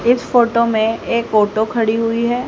इस फोटो में एक खड़ी हुई है।